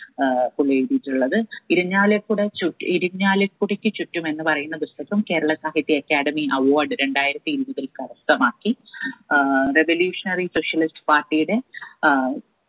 ഏർ പുള്ളി എഴുതീട്ടുള്ളത് ഇരിഞ്ഞാലക്കുട ചുറ്റ് ഇരിഞ്ഞാലക്കുടക്ക് ചുറ്റും എന്ന് പറയുന്ന പുസ്തകം കേരള സാഹിത്യ academy award രണ്ടായിരത്തി ഇരുപതിൽ കരസ്ഥമാക്കി ഏർ revolutionary specialist party യുടെ ഏർ